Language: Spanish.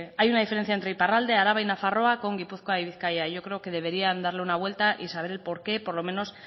hay una diferencia entre iparralde araba y nafarroa con gipuzkoa y bizkaia y yo creo que deberían darle una vuelta y saber el porqué por lo menos